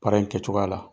Baara in kɛcogoya la